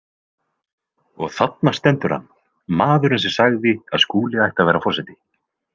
Og þarna stendur hann, maðurinn sem sagði að Skúli ætti að verða forseti.